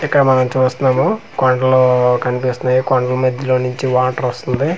ఇక్కడ మనం చూస్తన్నాము కొండ్లు కన్పిస్తున్నాయి కొండ్ల మధ్యలో నుంచి వాటర్ వస్తుంది.